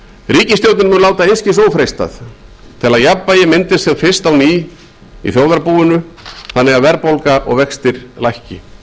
mun láta einskis ófreistað til að jafnvægi myndist sem fyrst á ný í þjóðarbúinu þannig að verðbólga og vextir lækki